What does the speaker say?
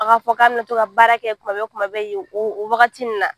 A k'a fɔ k'a bɛna to ka baara kɛ tuma bɛɛ tuma bɛɛ yen o wagati in na